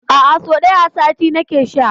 A'a, sau ɗaya a sati nake sha.